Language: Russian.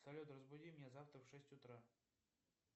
салют разбуди меня завтра в шесть утра